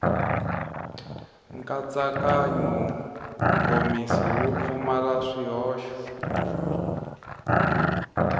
nkatsakanyo nkomiso wu pfumala swihoxo